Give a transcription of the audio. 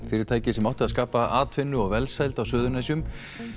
fyrirtækið sem átti að skapa atvinnu og velsæld á Suðurnesjum